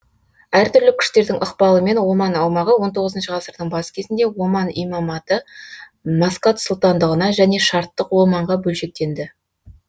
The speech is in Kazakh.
әр түрлі күштердің ықпалымен оман аумағы он тоғызыншы ғасырдың бас кезінде оман имаматы маскат сұлтандығына және шарттық оманға бөлшектенді